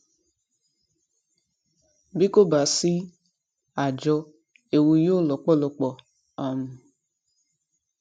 bí kò bá sí àjọ ewu yóó lopolopo um